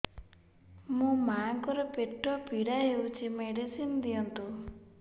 ମୋ ମାଆଙ୍କର ପେଟ ପୀଡା ହଉଛି ମେଡିସିନ ଦିଅନ୍ତୁ